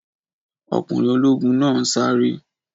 Ọkùnrin ológun náà ń sáré